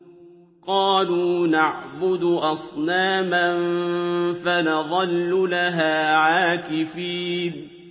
قَالُوا نَعْبُدُ أَصْنَامًا فَنَظَلُّ لَهَا عَاكِفِينَ